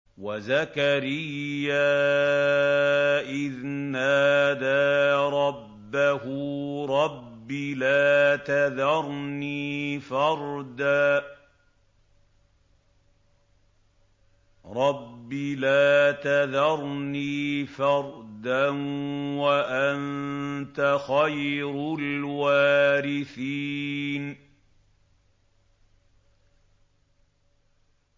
وَزَكَرِيَّا إِذْ نَادَىٰ رَبَّهُ رَبِّ لَا تَذَرْنِي فَرْدًا وَأَنتَ خَيْرُ الْوَارِثِينَ